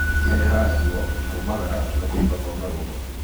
Ìrehaga ruo, kũmagara na kuumba kwa marũngo.